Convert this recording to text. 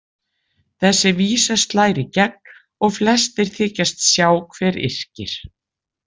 Þessi vísa slær í gegn og flestir þykjast sjá hver yrkir.